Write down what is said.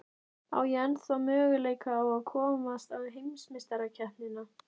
Á ég ennþá möguleika á að komast á heimsmeistarakeppnina?